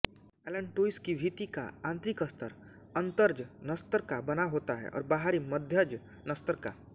allantois की भित्ति का आंतरिक स्तर अंतर्जनस्तर का बना होता है और बाहरी मध्यजनस्तर का